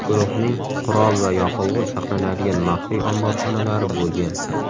Guruhning qurol va yoqilg‘i saqlanadigan maxfiy omborxonalari bo‘lgan.